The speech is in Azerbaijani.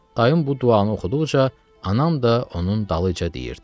Dayım bu duanı oxuduqca anam da onun dalınca deyirdi.